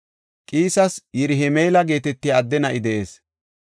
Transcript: Qiisa Yirahima7eela geetetiya adde na7i de7ees.